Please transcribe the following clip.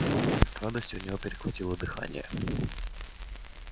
от радости у него перехватило дыхание